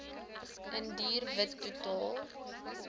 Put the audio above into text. indiër wit totaal